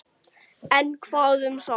En hvað um það